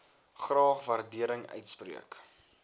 graag waardering uitspreek